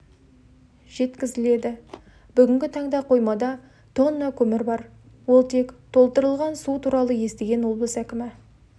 жеткізіледі бүгінгі таңда қоймада тонна көмір бар ол тек толтырылған бұл туралы естіген облыс әкімі